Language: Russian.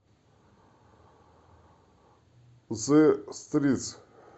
зе стритс